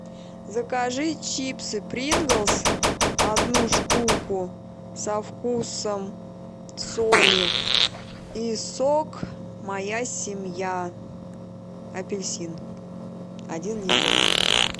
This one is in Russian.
закажи чипсы принглс одну штуку со вкусом соли и сок моя семья апельсин один литр